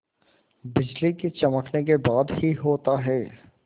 बिजली के चमकने के बाद ही होता है